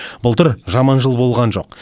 былтыр жаман жыл болған жоқ